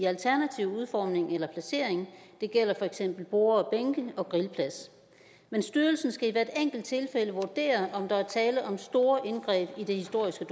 alternativ udformning eller placering det gælder for eksempel borde og bænke og grillplads men styrelsen skal i hvert enkelt tilfælde vurdere om der er tale om store indgreb i det historiske